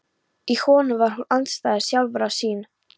Í honum var hún andstæða sjálfrar sín.